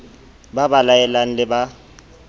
ba ba laelang le ba